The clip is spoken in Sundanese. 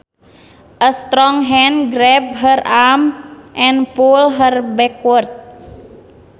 A strong hand grabbed her arm and pulled her backward